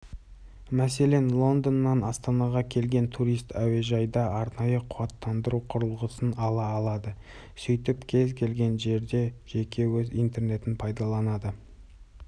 мәселен лондоннан астанаға келген турист әуежайда арнайы қуаттандыру құрылғысын ала алады сөйтіп кез келген жерде жеке өз интернетін пайдаланады